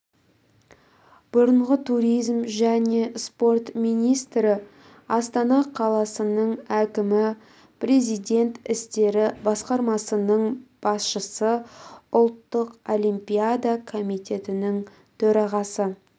бұрынғы туризм және спорт министрі астана қаласының әкімі президент істері басқармасының басшысы ұлттық олимпиада комитетінің төрағасы